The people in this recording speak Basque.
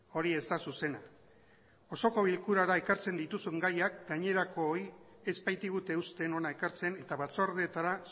hori ez da zuzena osoko bilkurara ekartzen dituzun gaiak gainerakoei ez baitigute uzten hona ekartzen eta batzordeetara